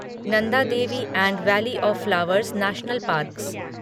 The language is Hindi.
Nanda Devi and valley of flowers national parks